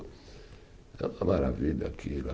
É uma maravilha aquilo.